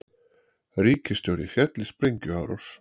Ríkisstjóri féll í sprengjuárás